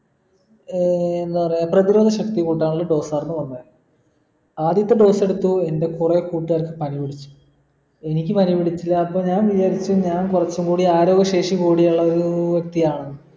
അഹ് എന്താ പറയാ പ്രധിരോധ ശക്തി കൂട്ടാനുള്ള dose ആയിരുന്നു വന്നേ ആദ്യത്തെ dose എടുത്തു എൻ്റെ കൊറേ കൂട്ടാർക്ക് പനി പിടിച്ചു എനിക്ക് പനി പിടിച്ചില്ല അപ്പൊ ഞാൻ വിചാരിച്ചു ഞാൻ കുറച്ചും കൂടി ആരോഗ്യ ശേഷി കൂടിയുള്ളൊരു വ്യക്തിയാണെന്ന്